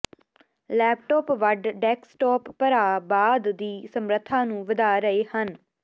laptop ਵੱਡ desktop ਭਰਾ ਬਾਅਦ ਦੀ ਸਮਰੱਥਾ ਨੂੰ ਵਧਾ ਰਹੇ ਹਨ